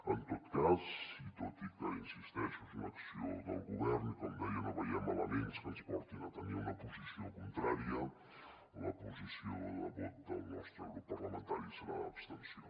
en tot cas i tot i que hi insisteixo és una acció del govern i com deia no veiem elements que ens portin a tenir una posició contrària la posició de vot del nostre grup parlamentari serà d’abstenció